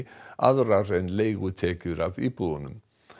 aðrar en leigutekjur af íbúðunum